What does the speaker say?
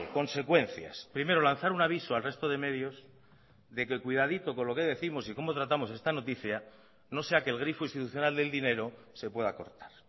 consecuencias primero lanzar un aviso al resto de medios de que cuidadito con lo que décimos y cómo tratamos esta noticia no sea que el grifo institucional del dinero se pueda acortar